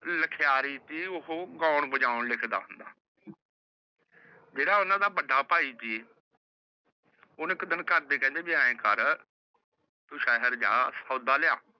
ਲਖਿਆਰੀ ਦੀ ਓਹ ਗਾਉਣ ਬਜਾਉਣ ਲਿਖਦਾ ਹੋਂਦਾ ਜੇਹੜਾ ਓਹਨਾ ਦਾ ਵੱਡਾ ਭਾਇ ਸੀ ਓਹਨੁ ਇਕ ਘਰ ਦੇ ਕਹਿੰਦੇ ਵੀ ਐਨ ਕਰ ਤੂ ਸਹਰ ਜਾ ਸੌਦਾ ਲਿਆ